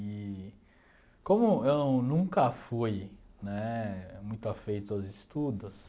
E como eu nunca fui né muito afeito aos estudos...